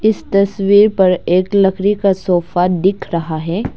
इस तस्वीर पर एक लकड़ी का सोफा दिख रहा है।